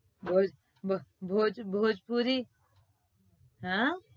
ભોજ ભોજ ભોજ ભોજપુરી હમ